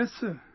yes sir